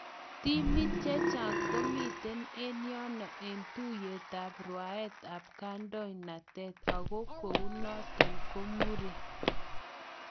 Timit chechaang komiten en yano en tuyet ap rwaet ap kandonatet, ago kou naton komure